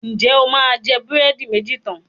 Ǹjẹ́ o máa jẹ búrẹ́dí méjì tán?